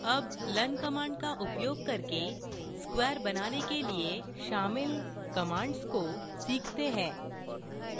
अब learn commands का उपयोग करके square बनाने के लिए शामिल commands को सीखते हैं